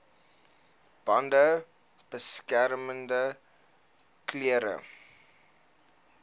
bande beskermende klere